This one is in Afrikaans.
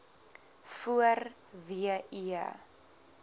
voor w e